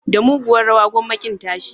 Da muguwar rawa, gwamma kin tashi.